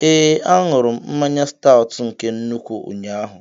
Ee, aṅụrụ m mmanya Staut nke nnukwu ụnyaahụ